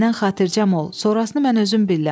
Məndən xatircəm ol, sonrasını mən özüm bilərəm.